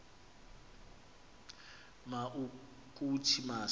ma ukuthi masi